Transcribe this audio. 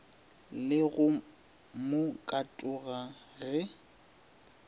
le go mo katoga ge